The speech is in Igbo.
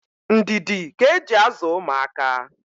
ndidi ka e ji azụ ụmụaka.